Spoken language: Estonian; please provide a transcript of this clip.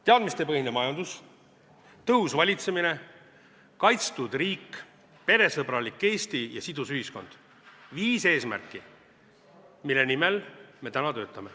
Teadmistepõhine majandus, tõhus valitsemine, kaitstud riik, peresõbralik Eesti ja sidus ühiskond – viis eesmärki, mille nimel me täna töötame.